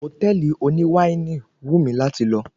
Hòtẹ́ẹ̀lì oní wáìnì wù mí láti lọ